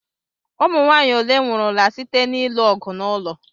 Ụmụnwaanyị ole nwụrụla site na-ilu ọgụ n'ụlọ?